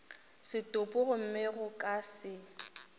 setopo gomme go ka se